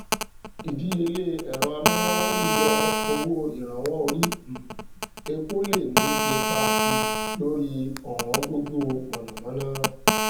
ìdíyelé ẹrọ amúnáwá yíyọ owó ìrànwọ orí um epo lè ní ipa um lórí ọwọn gógó mànàmáná